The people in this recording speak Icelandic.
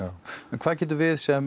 hvað getum við sem